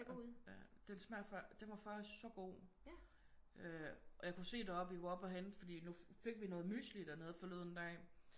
Ja den smager faktisk den var faktisk så god. Øh og jeg kunne se deroppe vi var oppe og hente fordi nu fik vi noget mysli dernede forleden dag